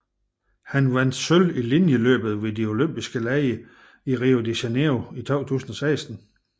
Han vandt sølv i linjeløbet ved de Olympiske Lege i Rio de Janeiro i 2016